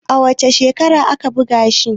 a wace shekara aka buga shi?